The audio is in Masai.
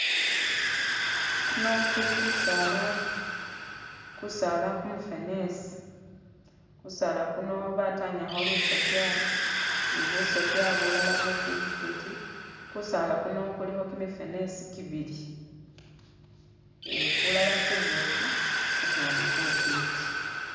Kuno kuli kusaala, kusaala kumufenesi. kusaala kuno batanyakho lusokya ni busokya bulala bufitifiti, kusaala kuno kulikho kimifenesi kibili, eh kulala kuboofu kukundi kufwiti.